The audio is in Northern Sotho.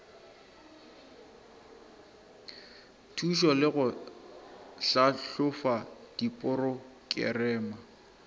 thušo le go tlhahloba diporokerama